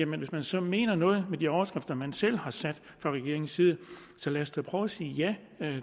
hvis man så mener noget med de overskrifter man selv har sat fra regeringens side så lad os da prøve at sige ja